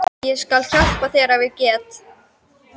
Ég skal hjálpa þér ef ég get.